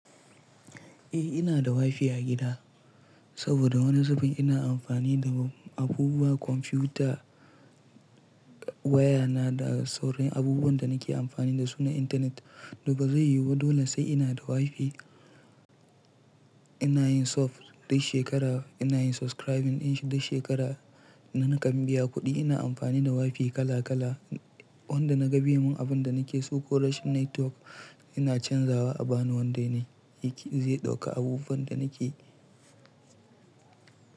Eh ina da WiFi a gida saboda wani zafin ina amfani da abubuwan kwamfuta, waya na da sauran abubuwan da nake amfani dasu na intanet. Ba zai yiwu ba dole sai ina da WiFi. Ina yin sub duk shekara, ina yin subscribing in duk shekara kuma ni kan biya kuɗi. Ina amfani da WiFi kala kala wanda naga be min abin da nake so. Ko rashin network ina canzawa a bani wanda zai ɗauka abubuwan da nake yi.